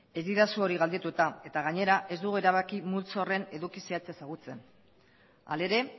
ez didazu hori galdetu eta eta gainera ez dugu erabaki multzo horren eduki zehatza ezagutzen hala ere